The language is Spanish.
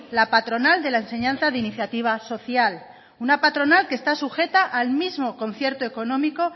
la patronal de la enseñanza de iniciativa social una patronal que está sujeta al mismo concierto económico